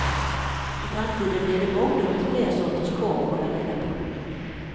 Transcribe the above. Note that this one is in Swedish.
I framtiden blir det mångdubbelt fler sorters korv att hålla reda på.